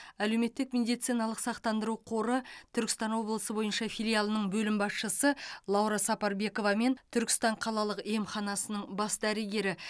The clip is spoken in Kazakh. әлеуметтік медициналық сақтандыру қоры түркістан облысы бойынша филиалының бөлім басшысы лаура сапарбекова мен түркістан қалалық емханасының бас дәрігері